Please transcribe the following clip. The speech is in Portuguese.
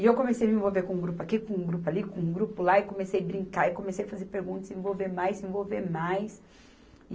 E eu comecei a me envolver com um grupo aqui, com um grupo ali, com um grupo lá, e comecei brincar, e comecei a fazer perguntas, se envolver mais, se envolver mais.